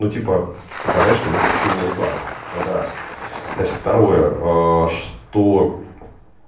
ну типа показать что у них активная реклама это раз значит второе что